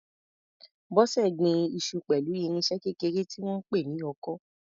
Bose gbin iṣu pẹ̀lú irinṣẹ́ kékeré tí wọ́n ń pè ní ọkọ́.